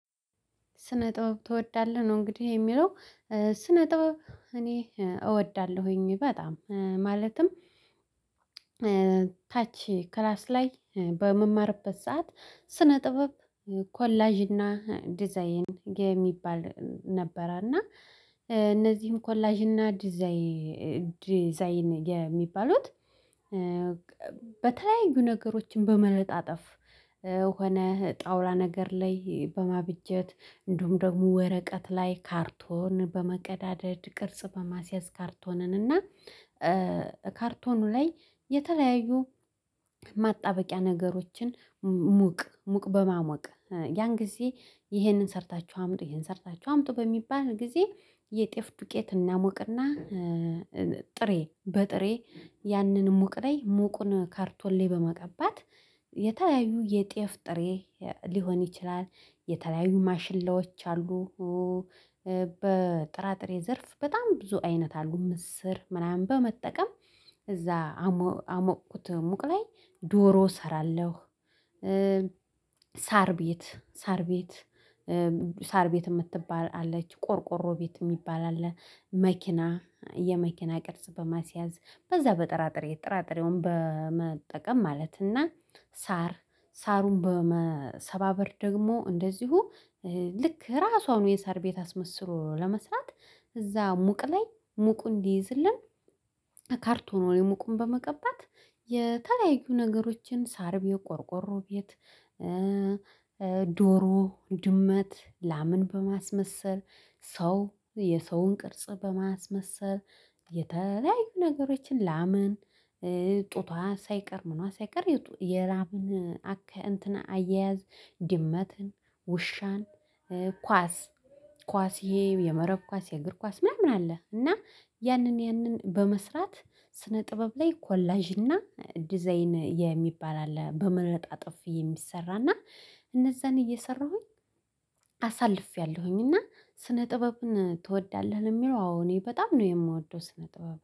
ስነ ጥበብ ትወዳለህ ነው እንግዲህ የሚለው? ስነ ጥበብ እኔ እወዳለሁኝ በጣም ማለትም። ታች ክላስ ላይ በምማርበት ሰዓት ስነ ጥበብ ኮላጅና ዲዛይን የሚባል ነበረ። እና እነዚህም ኮላጅና ዲዛይን የሚባሉት በተለያዩ ነገሮች በመለጣጠፍ ሆነ ጣውላ ነገር ላይ በማብጀት እንደውም ደግሞ ወረቀት ላይ ካርቶን በመቀዳደድ ቅርጽ በማስያዝ ካርቶንን እና። ላይ የተለያዩ ማጣበቂያ ነገሮችን ሙቅ ሙቅ በማሞቅ ያን ጊዜ ይሄንን ሰርታችሁ አምጡ ይሄን ሰርታችሁ አምጡ። በሚባል ጊዜ የጤፍ ዱቄት እናሞቅ እና ጥሬ በጥሬ ያንን ሙቅ ላይ ሙቁን ካርቶን ላይ በመቀባት የተለያዩ የጤፍ ጥሬ ሊሆን ይችላል የተለያዩ ማሽላዎች አሉ። በጥራጥሬ ዘርፍ በጣም ብዙ አይነት አሉ ምስር ምናምን በመጠቀም እዛ አሞቅኩት ሙቅ ላይ ዶሮ እሰራለሁ። ሳር ቤት ሳር ቤት ሳር ቤት ምትባል አለች ቆርቆሮ ቤት የሚባል አለ። መኪና የመኪና ቅርጽ በማስያዝ በዛ በጠራጥሬ ጠራጥሬውን በመጠቀም ማለት እና ሳር ሳሩን በመሰባበር ደግሞ እንደዚሁ ልክ ራሷን የሳር ቤት አስመስሎ ለመስራት እዛ ሙቅ ላይ ሙቁ እንዲይዝልን ካርቶ ላይ ሙቁም በመቀባት የተለያዩ ነገሮችን ሳር ቤት ቆርቆሮ ቤት። ዶሮ ድመት ላምን በማስመሰል ሰው የሰውን ቅርጽ በማስመሰል የተለያዩ ነገሮችን ላምን ጡቷ ሳይቀር ምናምን ሳይቀር የላምን አያያዝ ድመትን ውሻን ኳስ ኳስ የመረብ ኳስ የእግር ኳስ ምናምን አለ። እና ያንን ያንን በመስራት ስነ ጥበብ ላይ ኮላዥ እና ዲዛይን የሚባል አለ በመለጣጥፍ የሚሰራ እና እነዛን እየሰራሁኝ አሳልፌያለሁኝ። እና ስነ ጥበብን ትወዳለህ ነው የሚለው? አዎ እኔ በጣም ነው የምወደው ስነ ጥበብ